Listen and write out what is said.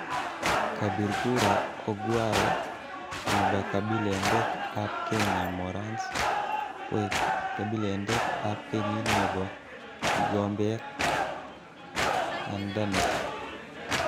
Kabir kura Ongwae ne kabelindet ab Kenya Morans koek kebelindet ab kenyit nebo gigombet an Danish .